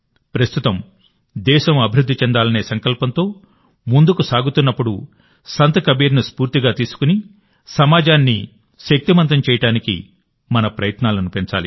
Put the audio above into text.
ప్రస్తుతం దేశం అభివృద్ధి చెందాలనే సంకల్పంతో ముందుకు సాగుతున్నప్పుడు సంత్ కబీర్ను స్ఫూర్తిగా తీసుకొని సమాజాన్ని శక్తిమంతం చేయడానికి మన ప్రయత్నాలను పెంచాలి